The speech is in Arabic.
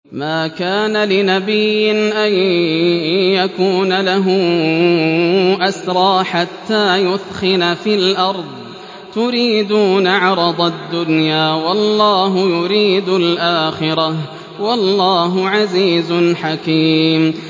مَا كَانَ لِنَبِيٍّ أَن يَكُونَ لَهُ أَسْرَىٰ حَتَّىٰ يُثْخِنَ فِي الْأَرْضِ ۚ تُرِيدُونَ عَرَضَ الدُّنْيَا وَاللَّهُ يُرِيدُ الْآخِرَةَ ۗ وَاللَّهُ عَزِيزٌ حَكِيمٌ